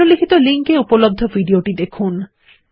নিম্নলিখিত লিঙ্কে উপলব্ধ ভিডিও টি দেখুন